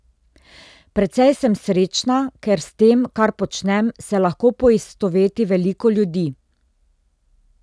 Precej sem srečna, ker s tem, kar počnem, se lahko poistoveti veliko ljudi.